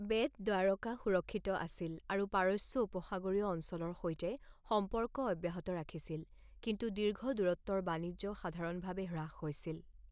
Bat Dwarka সুৰক্ষিত আছিল আৰু পাৰস্য উপসাগৰীয় অঞ্চলৰ সৈতে সম্পৰ্ক অব্যাহত ৰাখিছিল, কিন্তু দীৰ্ঘ দূৰত্বৰ বাণিজ্য সাধাৰণভাৱে হ্ৰাস হৈছিল।